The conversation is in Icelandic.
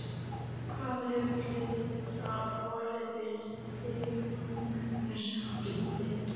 Hvað hefur fleira borið fyrir þig í þessu ástandi?